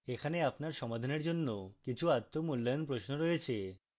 এখানে আপনার সমাধানের জন্য কিছু আত্ম মূল্যায়ন প্রশ্ন রয়েছে